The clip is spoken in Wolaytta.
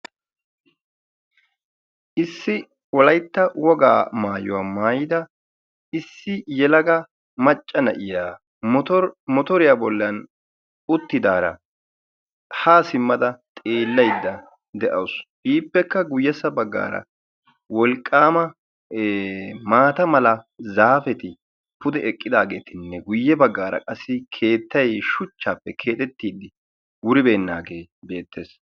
Issi wolaytta wogaa maaytuwa maayyidi issi yelagaa maccaa na'iyaa motoriya bollan uttidaara ha simmada xeellaydda de'awus. Ippekka guyyeessa baggaara wolqqaama maata mala zaapeti pude eqqidaageetinne guyye baggaara qassi keettay shuchchappe keexxetidi wuribeenagee beettees.